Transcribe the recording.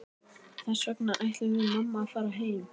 Þess vegna ætlum við mamma að fara heim.